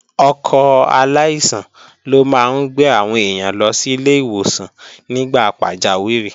Ọkọ̀ aláìsàn ló máa ń gbé àwọn èèyàn lọ sílé ìwòsàn nígbà pàjáwìrì